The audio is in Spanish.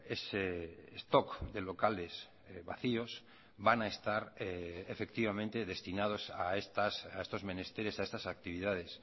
ese stock de locales vacíos van a estar efectivamente destinados a estos menesteres a estas actividades